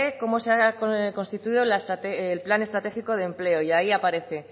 cómo se ha constituido el plan estratégico de empleo y ahí aparece